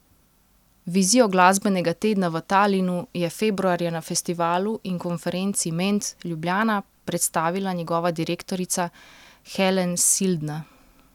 Vizijo glasbenega tedna v Talinu je februarja na festivalu in konferenci Ment Ljubljana predstavila njegova direktorica Helen Sildna.